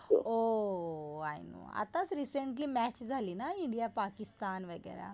O I know, आताच recently match झाली ना इंडिया पाकिस्तान वगैरा.